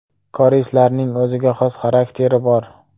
Koreyslarning o‘ziga xos xarakteri bor.